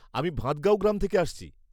আমি ভাদগাঁও গ্রাম থেকে আসছি।